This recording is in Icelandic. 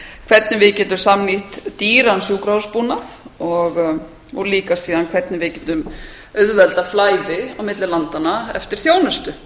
hvernig við getum samnýtt dýran sjúkrahússbúnað og líka síðan hvernig við getum auðveldað flæði á milli landanna eftir þjónustu